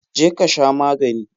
Je ka sha magani!